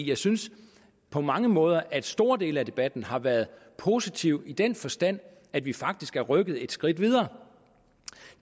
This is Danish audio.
jeg synes på mange måder at store dele af debatten har været positiv i den forstand at vi faktisk er rykket et skridt videre